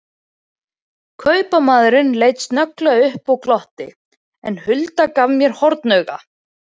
Kaupamaðurinn leit snögglega upp og glotti, en Hulda gaf mér hornauga.